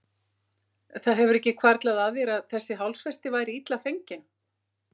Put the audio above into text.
Það hefur ekki hvarflað að þér að þessi hálsfesti væri illa fengin?